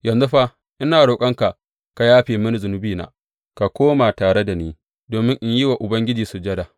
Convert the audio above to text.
Yanzu fa, ina roƙonka ka yafe mini zunubina, ka koma tare da ni, domin in yi wa Ubangiji sujada.